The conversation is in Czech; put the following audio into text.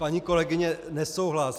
Paní kolegyně, nesouhlas.